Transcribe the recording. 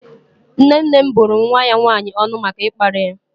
Nne nne m bụrụ nwa ya nwannyi ọnụ maka ịkparị ya.